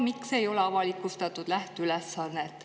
Miks ei ole avalikustatud lähteülesannet?